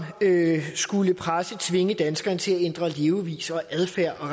skulle presse og tvinge danskerne til at ændre levevis og adfærd og